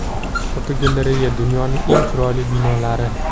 Fotogalereya: Dunyoning eng chiroyli binolari.